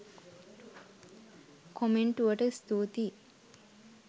කොමෙන්ටුවට ස්තූතියි.